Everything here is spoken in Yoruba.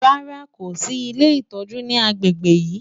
Rárá, kò sì ilé ìtọ́jú ní agbègbè yìí.